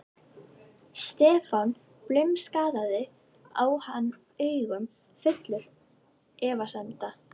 Stefán blimskakkaði á hann augum, fullur efasemda.